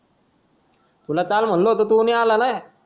तुला काल म्हणालो होतो नाय आलाना